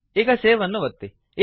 ಈಗ ಸೇವ್ ಅನ್ನು ಒತ್ತಿ